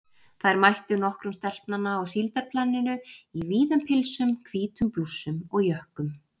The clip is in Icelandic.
Þær mættu nokkrum stelpnanna á síldarplaninu í víðum pilsum, hvítum blússum og jökkum.